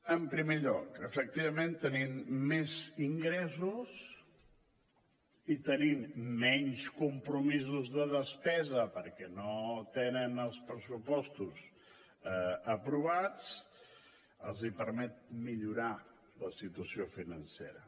en primer lloc efectivament tenir més ingressos i tenir menys compromisos de despesa perquè no tenen els pressupostos aprovats els permet millorar la situació financera